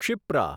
Kshipra